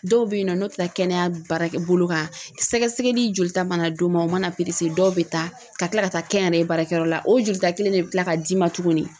Dɔw bɛ yen nɔ n'o tɛ taa kɛnɛya baarakɛ bolo kan sɛgɛsɛgɛli jolita mana d'u ma u mana dɔw bɛ taa ka kila ka taa kɛnyɛrɛye baarakɛyɔrɔ la o jolita kelen in de bɛ kila ka d'i ma tuguni .